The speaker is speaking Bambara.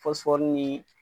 ni